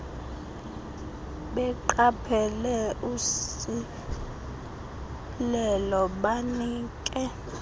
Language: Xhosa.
beqaphele usilelo banike